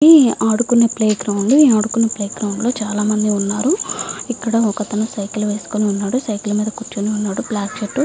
ఇది ఆడుకునే play ground ల వుంది ఆడుకునే ప్లే గ్రౌండ్ లో చాల మంది వున్నారు ఇక్కడ ఒక అతను సైకిల్ మేధా వున్నాడు సైకిల్ వేసుకొని కూర్చున్నాడు బ్లాకు కలర్ షర్టు వేసుకొని.